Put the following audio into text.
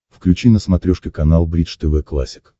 включи на смотрешке канал бридж тв классик